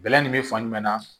Bɛlɛ nin bɛ fan jumɛn na